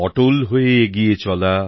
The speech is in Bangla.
অটল হয়ে এগিয়ে চলা